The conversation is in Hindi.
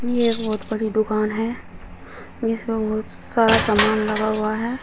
ये एक बहुत बड़ी दुकान है जिसमें बहुत सारा सामान लगा हुआ है।